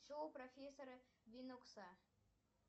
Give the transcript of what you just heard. шоу профессора бинокса